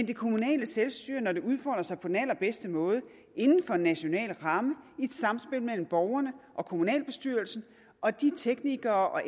det kommunale selvstyre udfolder sig på den allerbedste måde inden for en national ramme i et samspil mellem borgerne og kommunalbestyrelsen og de teknikere og